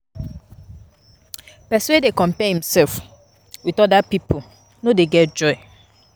Pesin wey dey compare imsef wit oda pipo no dey get joy.